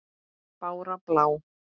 Bára blá!